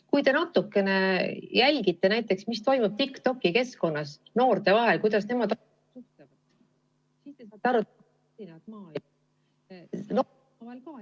Kui te natukene jälgite, mis toimub näiteks TikToki keskkonnas noorte vahel ja kuidas nemad üksteisega suhtlevad, siis te saate aru ......